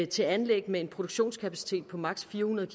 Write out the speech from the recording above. til anlæg med en produktionskapacitet på max fire hundrede